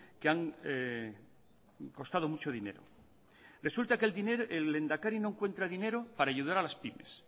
que han costado mucho dinero resulta que el lehendakari no encuentra dinero para ayudar a las pymes